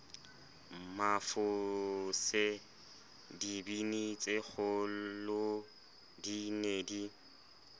mafose dibini tsekgolodi ne di